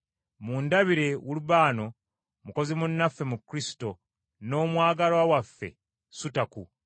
Mundabire Ulubano, mukozi munnaffe mu Kristo, n’omwagalwa waffe Sutaku.